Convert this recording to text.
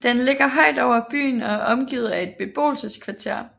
Den ligger højt over byen og er omgivet af et beboelseskvarter